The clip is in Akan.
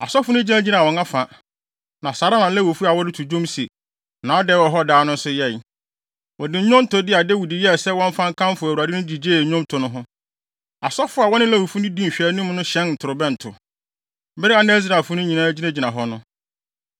Asɔfo no gyinagyinaa wɔn afa, na saa ara na Lewifo a wɔreto dwom se, “Nʼadɔe wɔ hɔ daa!” no nso yɛe. Wɔde nnwontode a Dawid yɛe sɛ wɔmfa nkamfo Awurade no gyigyee nnwonto no ho. Asɔfo a wɔne Lewifo no di nhwɛanim no hyɛn ntorobɛnto, bere a na Israelfo no nyinaa gyinagyina hɔ no.